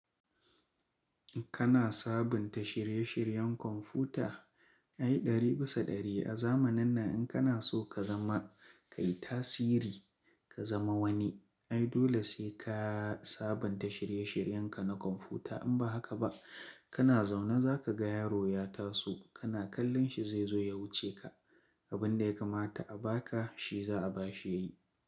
Kana sabunta shirye-shiryen kwamfuyuta ai ɗari bisa ɗari. A zamanin nan in kana so ka zama ka yi tasiri ka zama wani ai dole sai ka sabunta shirye-shiryen ka na kwamfuyuta. In ba haka ba kana zaune za ka ga yaro ya taso kana kallon shi zai zo ya wuce ka. Abin da ya kamata a ba ka shi za a ba shi yayi.